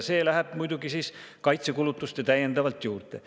See läheb muidugi kaitsekulutustele juurde.